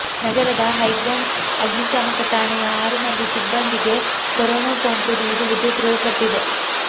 ನಗರದ ಹೈಗ್ರೌಂಡ್ಸ್ ಅಗ್ನಿಶಾಮಕ ಠಾಣೆಯ ಆರು ಮಂದಿ ಸಿಬ್ಬಂದಿಗೆ ಕೊರೋನಾ ಸೋಂಕು ಇರುವುದು ದೃಢಪಟ್ಟಿದೆ